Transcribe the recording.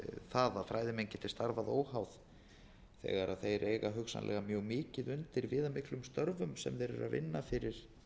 það að fræðimenn geti starfað óháð þegar þeir eiga hugsanlega mjög mikið undir viðamiklum störfum sem þeir eru að vinna fyrir